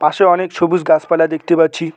সে অনেক সবুজ গাছপালা দেখতে পাচ্ছি।